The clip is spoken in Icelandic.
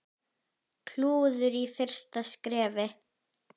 Klúður í fyrsta skrefi.